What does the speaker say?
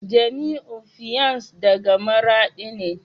Jamiu fiance daga maradi ne